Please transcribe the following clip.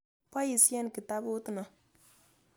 Poisyen kitaput ni.